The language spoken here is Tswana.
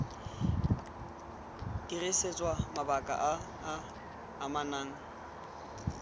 dirisetswa mabaka a a amanang